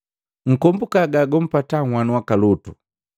Nkombuka gagumpataa nhwanu waka Lutu.